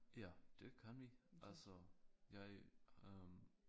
Ja det kan vi altså jeg øh